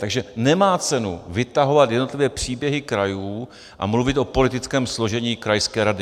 Takže nemá cenu vytahovat jednotlivé příběhy krajů a mluvit o politickém složení krajské rady.